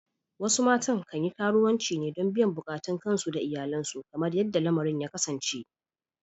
Wasu matan kan yi karuwanci ne don biyan bukatun kansu da iyalansu kamar yadda lamarin ya kasance.